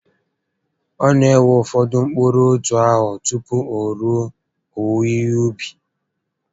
Ọ na ewe ụfọdụ mkpụrụ otu afọ tupu o rue owuwe ihe ubi